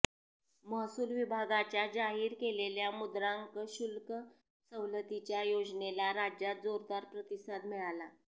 महसूल विभागाच्या जाहीर केलेल्या मुद्रांक शुल्क सवलतीच्या योजनेला राज्यात जोरदार प्रतिसाद मिळाला